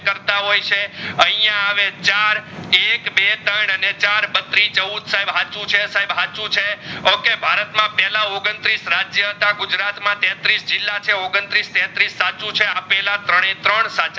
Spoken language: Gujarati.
કરવા હોય છે આઇયા હવે ચાર એક, બે, ત્રણ અને ચાર બત્રીચૌદ સાહેબ સાચું છે સાહેબ સાચું છે okay ભારત માં પેહલા ઓગણત્રીસ રાજ્ય હતા ગુજરાત માં તત્રીસ જિલ્લા છે ઓગણત્રીસ તત્રીસ સાચું છે આપેલા ત્રનેત્રણ સાચા છે